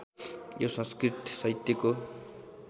यो संस्कृत साहित्यको